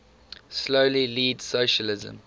slowly leads socialism